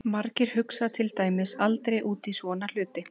Margir hugsa til dæmis aldrei út í svona hluti!